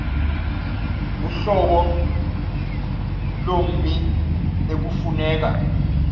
uhlobo lommi ekufuneka